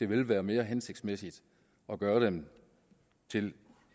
vil være mere hensigtsmæssigt at gøre dem til